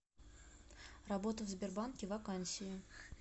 работа в сбербанке вакансии